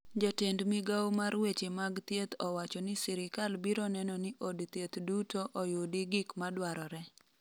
jatend migawo mar weche mag thieth owacho ni sirikal biro neno ni od thieth duto oyudi gik madwarore